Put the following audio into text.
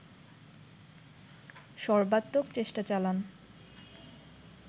সর্বাত্মক চেষ্টা চালান